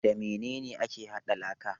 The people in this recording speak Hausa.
Da mene ne ake hada laka?